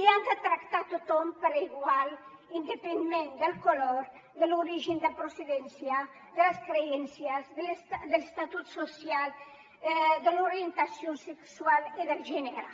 i han de tractar a tothom per igual independentment del color de l’origen de procedència de les creences de l’estatus social de l’orientació sexual i de gènere